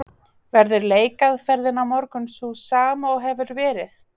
Verður leikaðferðin á morgun sú sama og hefur verið?